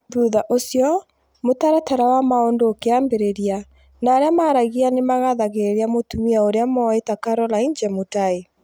Thutha ũcio, mũtaratara wa maũndu ũkĩambĩrĩria, na arĩa maaragia nĩ makathagĩrĩria mũtumia ũrĩa moĩ ta Caroline Jemutai.